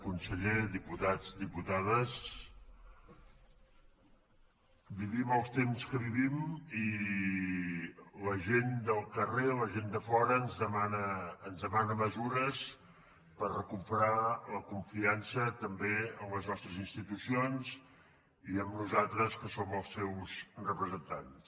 conseller diputats diputades vivim els temps que vivim i la gent del carrer la gent de fora ens demana mesures per recuperar la confiança també en les nostres institucions i en nosaltres que som els seus representants